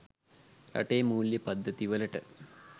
රටේ මූල්‍ය පද්ධති වලට